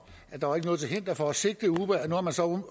at der ikke var noget til hinder for at sigte uber